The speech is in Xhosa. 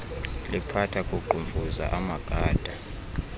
liphatha kuqhumfuza amagada